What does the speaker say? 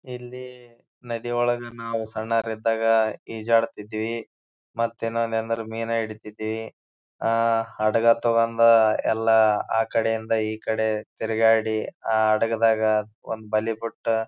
ಇಲ್ಲಿ ನದಿಯೊಳಗ ನಾವು ಸಂನೌರಿದ್ದಾಗ ಈಜಾಡ್ತಾ ಇದ್ವಿ. ಮತ್ತ ಇನ್ನೊಂದ್ ಏನಂದ್ರ ಮೀನ್ ಹಿಡಿತಾಇದ್ವಿ. ಅಹ್ ಹಡಗ ತಕೊಂಡ್ ಎಲ್ಲ ಆಕಡೆಯಿಂದ ಈ ಕಡೆಗೆ ತಿರ್ಗಾಡಿ ಆಹ್ಹ್ ಹಡಗದಾಗ ಒಂದ್ ಬಲಿ ಕೊಟ್ಟ.